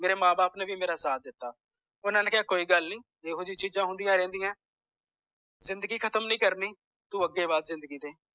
ਮੇਰੇ ਮਾਂ ਬਾਪ ਨੇ ਵੀ ਮੇਰਾ ਸਾਥ ਦੀਤਾ ਓਹਨਾ ਨੇ ਕਿਹਾ ਕਿ ਚਲ ਕੋਈ ਗੱਲ ਨੀ ਇਹੋ ਜੀ ਚੀਜ਼ਾਂ ਹੁੰਦੀਆਂ ਰਹਿੰਦੀਆਂ ਜ਼ਿੰਦਗੀ ਖਤਮ ਨੀ ਕਰਨੀ ਤੂੰ ਅੱਗੇ ਵੱਧ ਜ਼ਿੰਦਗੀ